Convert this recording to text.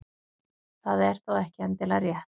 Það er þó ekki endilega rétt.